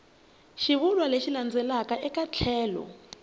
xivulwa lexi landzelaka eka tlhelo